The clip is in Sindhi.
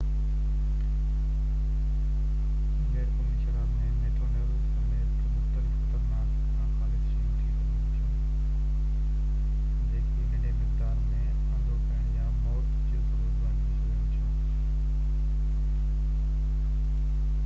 غيرقانوني شراب ۾ ميٿينول سميت مختلف خطرناڪ ناخالص شيون شامل ٿي سگهن ٿيون جيڪي ننڍي مقدارن م انڌوپڻ يا موت جو سبب بڻجي سگهن ٿيون